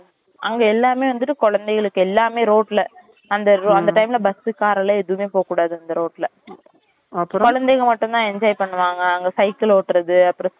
அங்க எல்லாமே வந்துட்டு குழந்தைகளுக்கு எல்லாமே ரோட்டுல அந்த அந்த time ல bus car எல்லாம் எதுமே போககூடாது அந்த ரோட்டுல குழந்தைங்க மட்டும்தான் அங்க enjoy பண்ணுவாங்க அங்க cycle ஓட்டுறது அப்புறம் இந்த